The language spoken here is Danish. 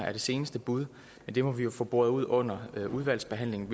er det seneste bud men det må vi jo få boret ud under udvalgsbehandlingen